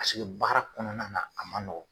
Paseke baara kɔnɔna na a man nɔgɔ.